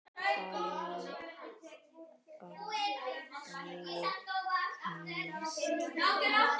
Bardagi Karls